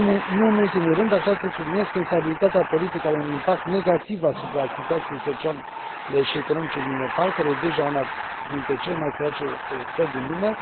Nu în ultimul rând, aș vrea să subliniez că instabilitatea politică are un impact negativ asupra situației sociale și economice din Nepal, care este deja una dintre cele mai sărace țări din lume.